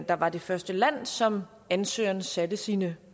der var det første land som ansøgeren satte sine